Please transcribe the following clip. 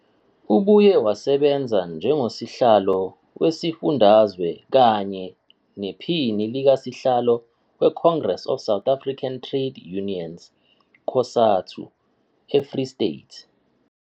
Ubuye wasebenza njengosihlalo wesifundazwe kanye nephini likasihlalo weCongress of South African Trade Unions, COSATU, eFree State.